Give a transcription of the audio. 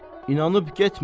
İnanıb getmə.